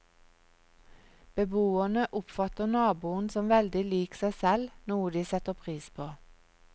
Beboerne oppfatter naboen som veldig lik seg selv, noe de setter pris på.